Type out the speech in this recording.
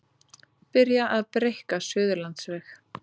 Byrjað að breikka Suðurlandsveg